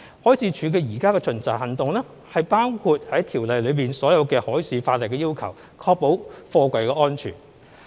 海事處現時的巡查行動包括《條例》下所有海事法例的要求，確保貨櫃安全。